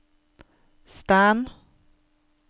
stand